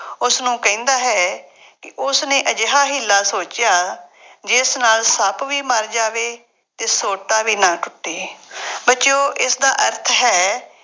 ਉਸਨੂੰ ਕਹਿੰਦਾ ਹੈ ਕਿ ਉਸਨੇ ਅਜਿਹਾ ਹੀ ਹੀਲਾ ਸੋਚਿਆ ਜਿਸ ਨਾਲ ਸੱਪ ਵੀ ਮਰ ਜਾਵੇ ਅਤੇ ਸੋਟਾ ਵੀ ਨਾ ਟੁੱਟੇ। ਬੱਚਿਉਂ ਇਸਦਾ ਅਰਥ ਹੈ,